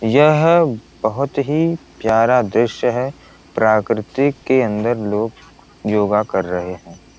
यह बहुत ही प्यारा दृश्य है प्राकृति के अंदर लोग योगा कर रहे है।